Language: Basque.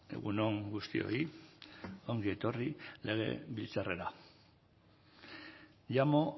egun on guztioi ongi etorri legebiltzarrera llamo